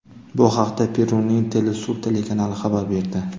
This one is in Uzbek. Bu haqda Peruning Telesur telekanali xabar berdi.